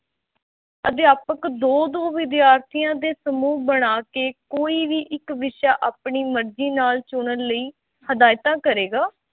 ਅਧਿਆਪਕ ਦੋ-ਦੋ ਵਿਦਿਆਰਥੀਆਂ ਦੇ ਸਮੂਹ ਬਣਾ ਕੇ ਕੋਈ ਵੀ ਇੱਕ ਵਿਸ਼ਾ ਆਪਣੀ ਮਰਜ਼ੀ ਨਾਲ ਚੁਣਨ ਲਈ ਹਿਦਾਇਤਾਂ ਕਰੇਗਾ।